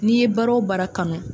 N'i ye baara o baara kanu